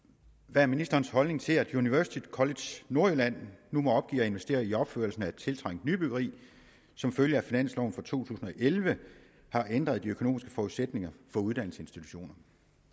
hvad er ministerens holdning til at university college nordjylland nu må opgive at investere i opførelsen af et tiltrængt nybyggeri som følge af at finansloven for to tusind og elleve har ændret de økonomiske forudsætninger for uddannelsesinstitutionerne